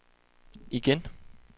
igen